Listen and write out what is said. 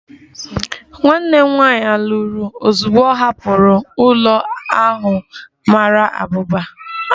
Nwanne m nwanyị lụrụ ozugbo ọ hapụrụ ụlọ ahụ mara abụba